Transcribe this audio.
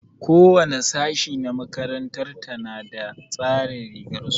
Ko wani sashi na makarantar ta na da tsarin rigar su.